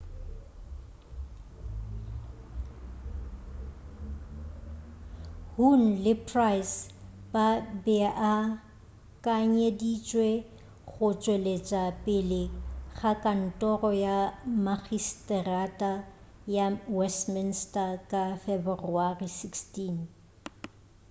huhne le pryce ba beakanyeditšwe go tšwelela pele ga kantoro ya makgiseterata ya westminster ka feberewari 16